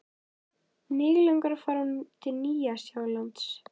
Mig langar að fara til Nýja-Sjálands.